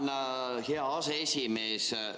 Tänan, hea aseesimees!